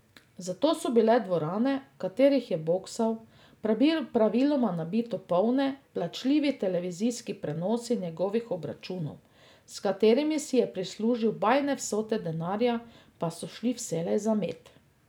Zato so bile dvorane, v katerih je boksal, praviloma nabito polne, plačljivi televizijski prenosi njegovih obračunov, s katerimi si je prislužil bajne vsote denarja, pa so šli vselej za med.